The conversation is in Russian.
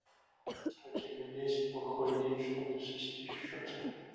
у тебя есть плохой день чтобы свести счеты